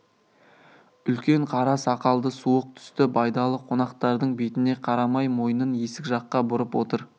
үлкен қара сақалды суық түсті байдалы қонақтардың бетіне қарамай мойнын есік жаққа бұрып отыр